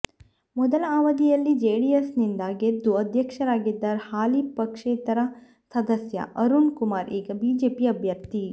ಮೊದಲ ಅವಧಿಯಲ್ಲಿ ಜೆಡಿಎಸ್ನಿಂದ ಗೆದ್ದು ಅಧ್ಯಕ್ಷರಾಗಿದ್ದ ಹಾಲಿ ಪಕ್ಷೇತರ ಸದಸ್ಯ ಅರುಣ್ ಕುಮಾರ್ ಈಗ ಬಿಜೆಪಿ ಅಭ್ಯರ್ಥಿ